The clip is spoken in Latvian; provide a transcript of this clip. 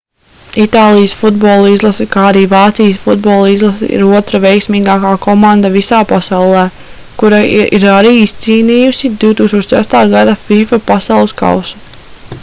itālijas futbola izlase kā arī vācijas futbola izlase ir otra veiksmīgāka komanda visā pasaulē kura ir arī izcīnījusi 2006. gada fifa pasaules kausu